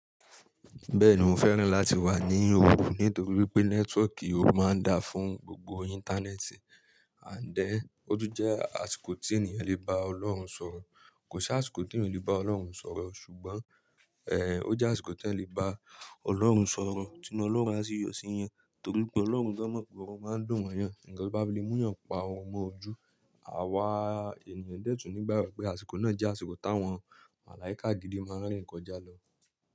Bẹ́ẹ̀ni mo fẹ́ràn láti wà ní òru nítorí pé nẹ́tíwọ́ọ̀kì òru máa ń da fún gbogbo Íńtánẹ́ẹ̀tì. And then, o tun jẹ́ àsìkò tí èèyàn lè bá Ọlọ́run sọ̀rọ̀. Kò ṣi àsìkò tí èèyàn o lè bá Ọlọ́run sọ̀rọ̀ ṣùgbọ́n, ẹ, ó jẹ́ àsìkò tí ẹeyan lè bá Ọlọ́run sọ̀rọ̀ tí nu Ọlọ́run á sì yọ̀ sí eeyan. Nítorí pé Ọlọ́run gan mo pe orun máa ń dùn mo yàn. Nkan tí ó bá le mú eeyan pa orun mọ ojú. Àwa èèyàn dẹ̀ tún nígbà rẹ pé àsìkò náà jẹ́ àsìkò tí àwọn màláíkà gidi máa ń rìn kọjá lọ.